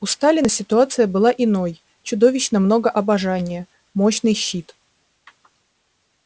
у сталина ситуация была иной чудовищно много обожания мощный щит